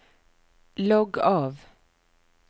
logg av